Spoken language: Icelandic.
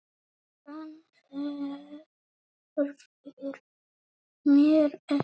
Hann hverfur mér ekki.